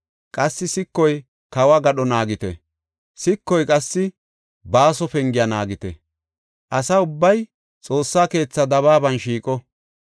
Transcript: Qassi sikoy kawo gadho naagite; sikoy qassi Baaso Pengiya naagite. Asa ubbay Xoossa keethaa dabaaban shiiqo.